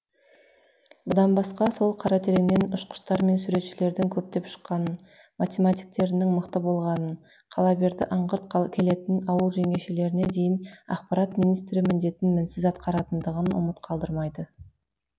бұдан басқа сол қаратереңнен ұшқыштар мен суретшілердің көптеп шыққанын математиктерінің мықты болғанын қалаберді аңғырт келетін ауыл жеңешелеріне дейін ақпарат министрі міндетін мінсіз атқаратындығын ұмыт қалдырмайды